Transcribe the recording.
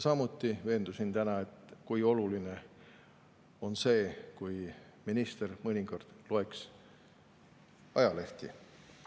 Samuti veendusin täna selles, kui oluline oleks see, kui minister mõnikord loeks ajalehti.